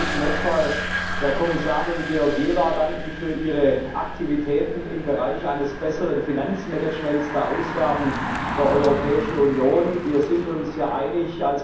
Ich möchte zunächst der Kommissarin Georgieva für ihre Aktivitäten im Bereich eines besseren Finanzmanagements der Ausgaben der Europäischen Union danken. Wir sind uns einig.